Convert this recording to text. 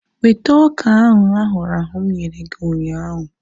Weta ọka ahu ahụrụ ahụ̀ mụ nyere gị ụnyaahụ!